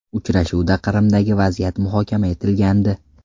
Uchrashuvda Qrimdagi vaziyat muhokama etilgandi.